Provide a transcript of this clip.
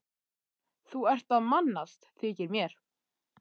Þú ert að mannast, þykir mér.